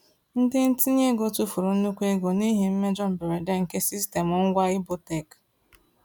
Ndị ntinye ego tufuru nnukwu ego n’ihi mmejọ mberede nke sistemụ ngwa Ibotek.